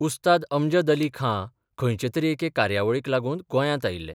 उस्ताद अमजद अली खाँ खंयचे तरी एके कार्यावळीक लागून गोंयांत आयिल्ले.